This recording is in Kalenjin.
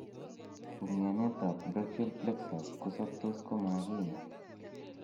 Umianet ab brachial plexus kosobtos komakinyaa